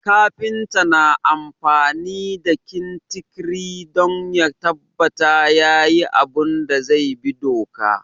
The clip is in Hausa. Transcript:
Kafinta na amfani da kintikiri don ya tabbata yayi abun da zai bi doka